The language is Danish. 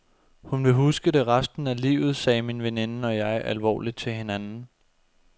Hun vil huske det resten af livet, sagde min veninde og jeg alvorligt til hinanden.